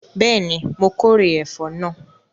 Bẹ́ẹ̀ni, my kórè ẹ̀fọ́ náà